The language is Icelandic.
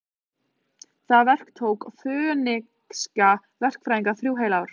Það verk tók fönikíska verkfræðinga heil þrjú ár.